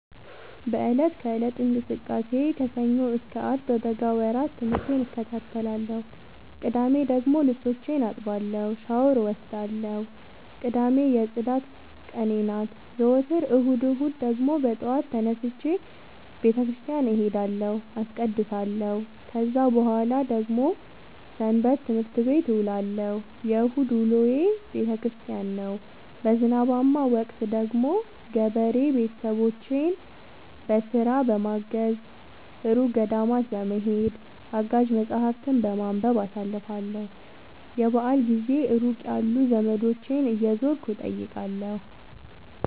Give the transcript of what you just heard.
በእለት ከእለት እንቅስቃሴዬ ከሰኞ እስከ አርብ በበጋ ወራት ትምህርቴን እከታተላለሁ። ቅዳሜ ደግሞ ልብሶቼን አጥባለሁ ሻውር እወስዳለሁ ቅዳሜ የፅዳት ቀኔ ናት። ዘወትር እሁድ እሁድ ደግሞ በጠዋት ተነስቼ በተክርስቲያን እሄዳለሁ አስቀድሳሁ። ከዛ በኃላ ደግሞ ሰበትምህርት ቤት እውላለሁ የእሁድ ውሎዬ ቤተክርስቲያን ነው። በዝናባማ ወቅት ደግሞ ገበሬ ቤተሰቦቼን በስራ በማገ፤ እሩቅ ገዳማት በመሄድ፤ አጋዥ መፀሀፍትን በማንበብ አሳልፍለሁ። የበአል ጊዜ ሩቅ ያሉ ዘመዶቼን እየዞርኩ እጠይቃለሁ።